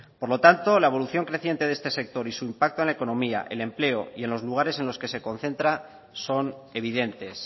por lo tanto la evolución creciente de este sector y su impacto en la economía el empleo y en los lugares en los que se concentra son evidentes